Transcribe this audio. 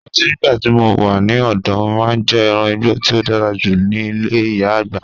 Mo ranti nigbati mo wa ni ọdọ, mo maa n jẹ ẹran igbo ti o dara julọ ni ile iya-agba